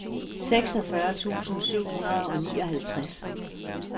seksogfyrre tusind syv hundrede og nioghalvtreds